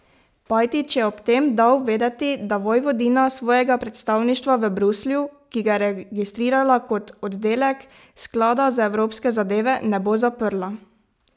Pajtić je ob tem dal vedeti, da Vojvodina svojega predstavništva v Bruslju, ki ga je registrirala kot oddelek sklada za evropske zadeve, ne bo zaprla.